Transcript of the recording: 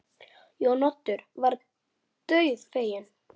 Þetta liggur fyrir.